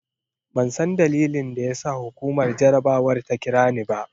Ban san dalilin da ya sa hukumar jarabawar ta kira ni ba.